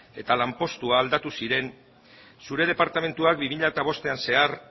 eta lanpostuak aldatu ziren zure departamentuak bi mila bostean zehar